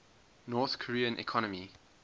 north korean economy